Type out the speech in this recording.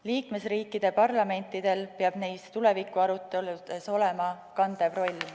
Liikmesriikide parlamentidel peab neis tulevikuaruteludes olema kandev roll.